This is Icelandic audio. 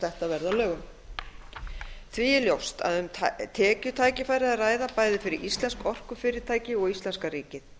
þetta verði að lögum því er ljóst að um tekjutækifæri er að ræða bæði fyrir íslensk orkufyrirtæki og íslenska ríkið